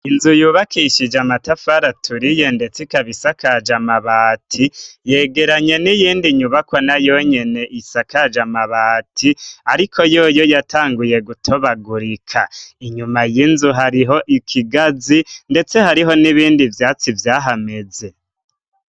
Inzu yubakishije amatafari aturiye, ndetse ikabisakaje amabati. Yegeranye n'iyindi nyubakwa nayo nyene isakaje amabati ariko yoyo yatanguye gutobagurika. Inyuma y'inzu hariho ikigazi ndetse hariho n'ibindi vyatsi vyahameze.